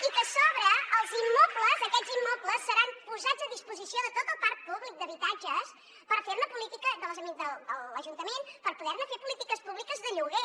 i que a sobre els immobles aquests immobles seran posats a disposició de tot el parc públic d’habitatges de l’ajuntament per poder ne fer polítiques públiques de lloguer